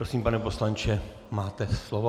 Prosím, pane poslanče, máte slovo.